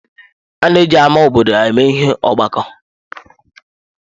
Ana eji ámá obodo eme ihe ọgbakọ.